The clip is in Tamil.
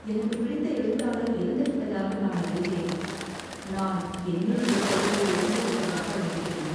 “எனக்கு பிடித்த எழுத்தாளர் இறந்துவிட்டதாக நான் அறிந்தேன். நான் என்னில் ஒரு பகுதியை இழந்துவிட்டதாக உணர்கிறேன்."